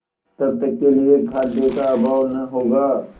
तब तक के लिए खाद्य का अभाव न होगा